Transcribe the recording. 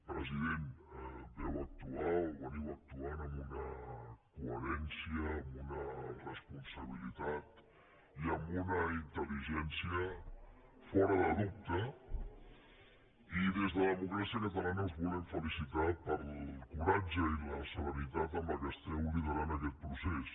president vau actuar o actueu amb una coherència amb una responsabilitat i amb una intel·ligència fora de dubte i des de democràcia catalana us volem felicitar pel coratge i la serenitat amb què esteu liderant aquest procés